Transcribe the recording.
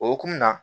O hokumu na